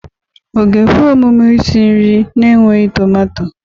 Ọ ga-ekwe omume isi nri na-enweghị tomato?